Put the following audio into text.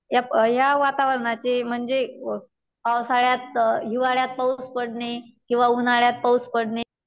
या प या वातावरणाची म्हणजे पावसाळ्यात, हिवाळ्यात पाऊस पडणे किंवा उन्हाळ्यात पाऊस पडणे.